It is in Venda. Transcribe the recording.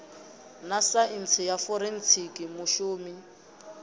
na saintsi ya forensikhi mushumi